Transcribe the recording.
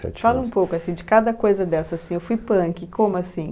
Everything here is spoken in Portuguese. Fala um pouco assim de cada coisa dessa, assim, eu fui punk, como assim?